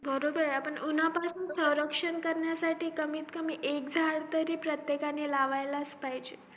बरोबर आहे आपण उन्हापासून रक्षण करण्यासाठीही कमीत कमी ऐक झाड तरी प्रत्येकाने लावायलाच पाहिजे